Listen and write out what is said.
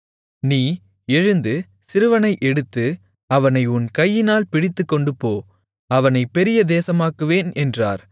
நீ எழுந்து சிறுவனை எடுத்து அவனை உன் கையினால் பிடித்துக்கொண்டுபோ அவனைப் பெரிய தேசமாக்குவேன் என்றார்